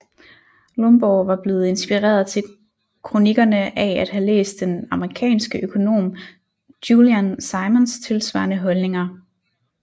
Lomborg var blevet inspireret til kronikkerne af at have læst den amerikanske økonom Julian Simons tilsvarende holdninger